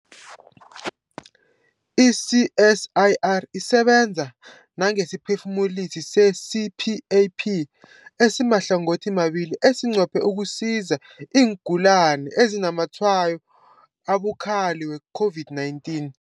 I-CSIR isebenza nangesiphefumulisi se-CPAP esimahlangothimabili esinqophe ukusiza iingulani ezinazamatshwayo abukhali we-COVID-19.